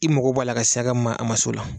I mago bɔ a la ka ma a man se o la.